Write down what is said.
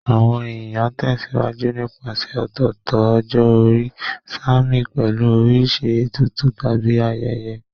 Àwọn èèyàn tẹ̀sìwájú nípasẹ̀ ọ̀tọ̀ọ̀tọ̀ ọjọ́ orí, sààmì pẹ̀lú oríṣi ètùtù tàbí ayẹyẹ